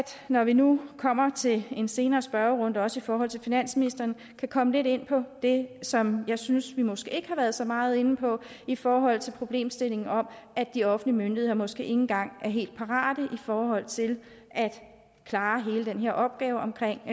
når vi nu kommer til en senere spørgerunde også i forhold til finansministeren kan komme lidt ind på det som jeg synes vi måske ikke har været så meget inde på i forhold til problemstillingen om at de offentlige myndigheder måske ikke engang er helt parate i forhold til at klare hele den her opgave omkring